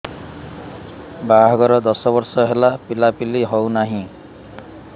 ବାହାଘର ଦଶ ବର୍ଷ ହେଲା ପିଲାପିଲି ହଉନାହି